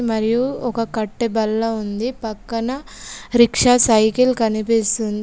మరియు ఒక కట్టె బల్ల ఉంది. పక్కన రిక్షా సైకిల్ కనిపిస్తుంది.